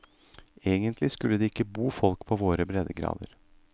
Egentlig skulle det ikke bo folk på våre breddegrader.